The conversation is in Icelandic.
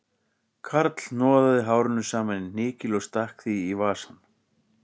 Karl hnoðaði hárinu saman í hnykil og stakk því í vasann